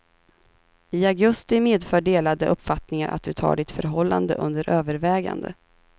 I augusti medför delade uppfattningar att du tar ditt förhållande under övervägande.